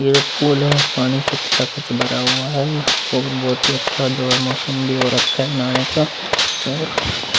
ये पूल है। पाणी से खचा-खच भरा हुआ है ओर बहुत ही अच्छा मोसम भी हो रखा है नहाने का ओर --